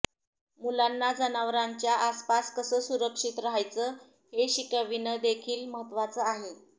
मुलांना जनावरांच्या आसपास कसं सुरक्षित रहायचं हे शिकविणंदेखील महत्त्वाचं आहे